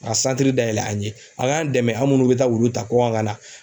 Ka dayɛlɛ an ye a k'an dɛmɛ an minnu bɛ taa wulu ta kɔkan ka na